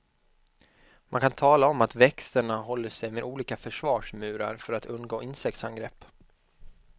Man kan tala om att växterna håller sig med olika försvarsmurar för att undgå insektsangrepp.